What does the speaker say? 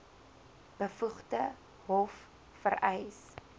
bevoegde hof vereis